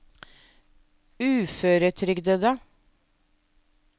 uføretrygdede